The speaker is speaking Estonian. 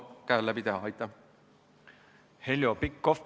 Heljo Pikhof, palun!